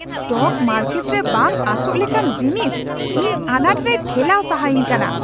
Stock market ᱨᱮ ᱵᱟᱝ ᱟᱸᱥᱚᱜ ᱞᱮᱠᱟᱱ ᱡᱤᱱᱤᱥ ᱤᱧ ᱟᱱᱟᱴ ᱨᱮᱭ ᱴᱷᱮᱞᱟᱣ ᱥᱟᱦᱟᱤᱧ ᱠᱟᱱᱟ ᱾